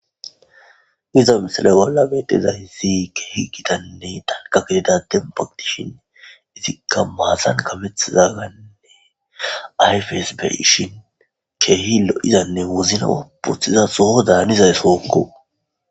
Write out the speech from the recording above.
Iza misale balla betezaysi keehi gitanne danka getidaden pagtishin izikka maasan kamethizaganne ayfes beyshin keehi lo'izanne wozna wobothiza soho daanizay sookko.